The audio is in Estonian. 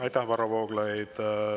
Aitäh, Varro Vooglaid!